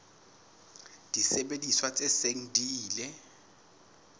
disebediswa tse seng di ile